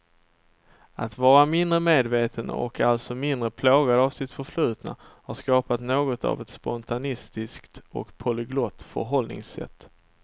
Att vara mindre medveten och alltså mindre plågad av sitt förflutna har skapat något av ett spontanistiskt och polyglott förhållningssätt.